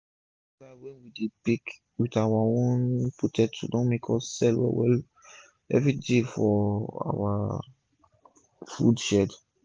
d meat pie wey we dey bake with our own potato don make us sell well well everi day for our food shed